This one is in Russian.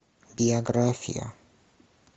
биография